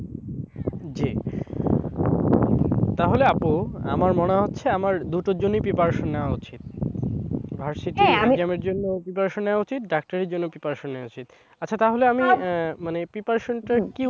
জি। তাহলে আপু, আমার মনে হচ্ছে আমার দুটোর জন্যই preparation নেওয়া উচিত। versity exam এর জন্য preparation নেওয়া উচিত, ডাক্তারির জন্যও preparation নেওয়া উচিত। আচ্ছা তাহলে আমি মানে preparation টা কি,